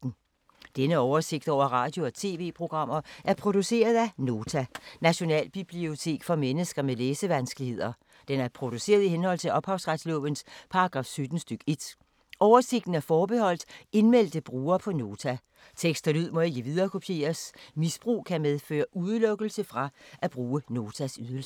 Denne oversigt over radio og TV-programmer er produceret af Nota, Nationalbibliotek for mennesker med læsevanskeligheder. Den er produceret i henhold til ophavsretslovens paragraf 17 stk. 1. Oversigten er forbeholdt indmeldte brugere på Nota. Tekst og lyd må ikke viderekopieres. Misbrug kan medføre udelukkelse fra at bruge Notas ydelser.